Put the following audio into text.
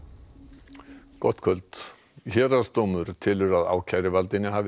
gott kvöld héraðsdómur telur að ákæruvaldinu hafi ekki tekist